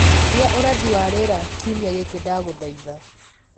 gia ũrathi wa rĩera kĩumĩa giki ndagũthaitha